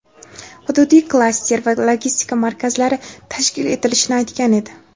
hududiy klaster va logistika markazlari tashkil etilishini aytgan edi.